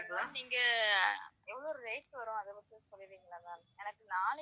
நீங்க எவ்ளோ rate வரும் அத மட்டும் சொல்லிறீங்களா ma'am எனக்கு நாளைக்கு